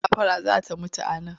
Gafara za ta mutu a nan!